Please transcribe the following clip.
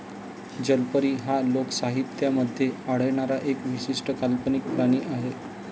जलपरी हा लोकसाहित्यामध्ये आढळणारा एक विशिष्ट काल्पनिक प्राणी आहे.